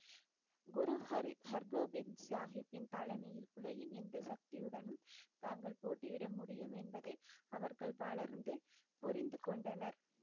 குரு ஹரி~ ஹர்கோவிந்த் சாஹிப்பின் தலைமையில் உலகின் எந்தச் சக்தியுடனும் தாங்கள் போட்டியிட முடியும் என்பதை அவர்கள் வளர்ந்து புரிந்து கொண்டனர்.